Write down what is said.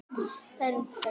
Leyfðu mér!